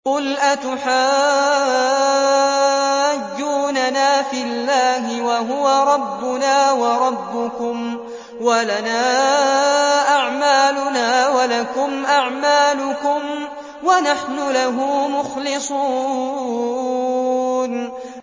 قُلْ أَتُحَاجُّونَنَا فِي اللَّهِ وَهُوَ رَبُّنَا وَرَبُّكُمْ وَلَنَا أَعْمَالُنَا وَلَكُمْ أَعْمَالُكُمْ وَنَحْنُ لَهُ مُخْلِصُونَ